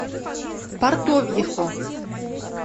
портовьехо